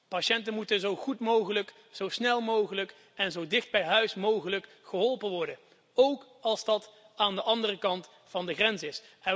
Patiënten moeten zo goed mogelijk, zo snel mogelijk en zo dicht mogelijk bij huis geholpen worden, ook als dat aan de andere kant van de grens is.